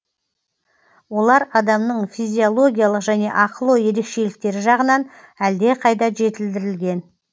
олар адамның физиологиялық және ақыл ой ерекшеліктері жағынан әлдеқайда жетілдірілген